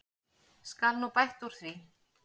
Skal nú bætt úr því.